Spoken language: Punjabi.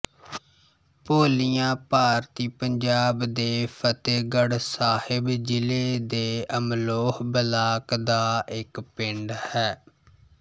ਭੋਲੀਆਂ ਭਾਰਤੀ ਪੰਜਾਬ ਦੇ ਫ਼ਤਹਿਗੜ੍ਹ ਸਾਹਿਬ ਜ਼ਿਲ੍ਹੇ ਦੇ ਅਮਲੋਹ ਬਲਾਕ ਦਾ ਇੱਕ ਪਿੰਡ ਹੈ